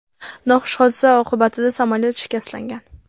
Noxush hodisa oqibatida samolyot shikastlangan.